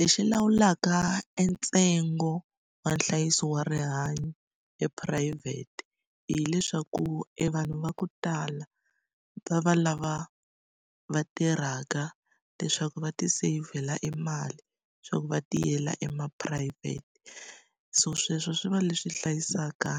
Lexi lawulaka entsengo wa nhlayiso wa rihanyo ephurayivhete hileswaku evanhu va ku tala va va lava va tirhaka leswaku va tiseyivhela emali, leswaku va tiyela ema phurayivhete. So sweswo swi va leswi hlayisaka